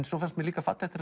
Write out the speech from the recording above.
svo fannst mér líka fallegt